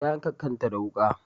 Ta yanka kanta da wuka